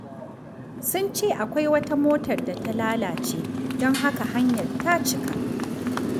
Sun ce akwai wata motar da ta lalace, don haka hanyar ta cika.